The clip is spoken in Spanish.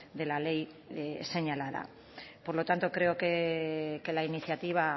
de la ley señalada por lo tanto creo que la iniciativa